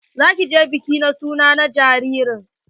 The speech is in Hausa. Za ki je bikin suna na jaririn?